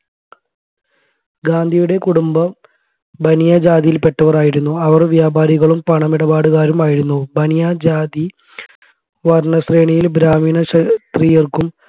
ഗാന്ധിയുടെ കുടുംബം ബനിയാജാതിയിൽ പെട്ടവരായിരുന്നു അവർ വ്യാപാരികളും പണമിടപാടുകാരുമായിരുന്നു ബനിയ ജാതി വർണശ്രേണിയിൽ ബ്രാഹ്മിണ ക്ഷത്രിയർക്കും